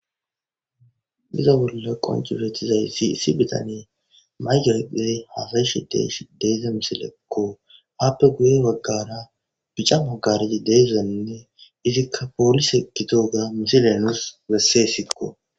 diza bolla qoncibetizay si isi bitane maygeredee hafeshi des deeze misileekko happe guye maggara pica mogaridi deezenne izikka poolis hekito ga misilenus besse sikko